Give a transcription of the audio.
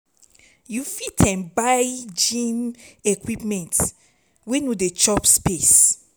you fit um buy gym equipments wey no dey chop space